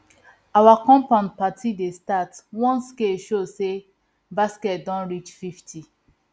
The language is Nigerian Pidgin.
our compound party dey start once scale show say basket don reach fifty